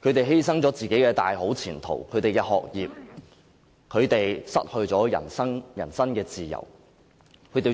他們可能因此而犧牲自己的大好前途、學業，失去人身自由。